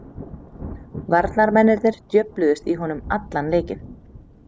Varnarmennirnir djöfluðust í honum allan leikinn.